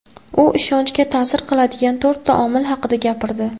U ishonchga ta’sir qiladigan to‘rtta omil haqida gapirdi.